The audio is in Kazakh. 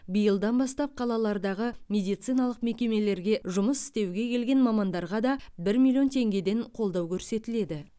биылдан бастап қалалардағы медициналық мекемелерге жұмыс істеуге келген мамандарға да бір миллион теңгеден қолдау көрсетіледі